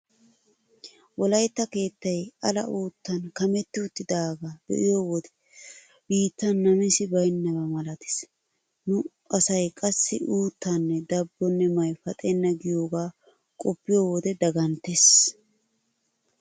Wolaytta keettay ala uuttan kametti uttidaagaa be'iyo wode biittan namisi baynnaba malatees. Nu asay qassi uuttanne dabbonne may paxenna giyogaa qoppiyo wode daganttees.